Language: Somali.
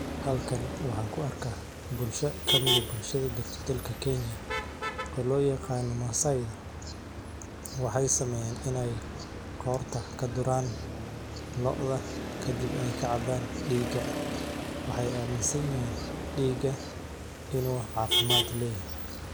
Halkani waxaan ku arkaa bulsho ka mida bulshada dalka Kenya olo yeeqaan Maasai waxay sameeyeen inay qoor ta ka duraan lo'dha ka dib ay ka cabbaan dhiiga. Waxay aaminsanyiin dhiiga inuu caafimaad leeyihiin.